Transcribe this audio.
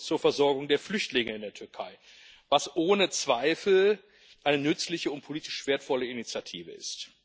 zur Versorgung der Flüchtlinge in der Türkei, was ohne Zweifel eine nützliche und politisch wertvolle Initiative ist.